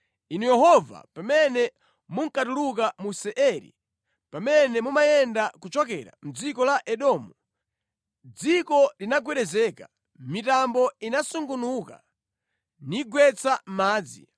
“Inu Yehova, pamene munkatuluka mu Seiri, pamene mumayenda kuchokera mʼdziko la Edomu, dziko linagwedezeka, mitambo inasungunuka nigwetsa madzi.